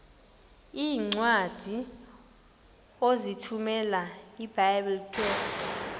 iincwadi ozithumela ebiblecor